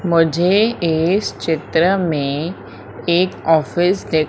मुझे इस चित्र में एक ऑफिस दे--